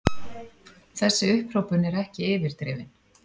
Þessi upphrópun er ekki yfirdrifin.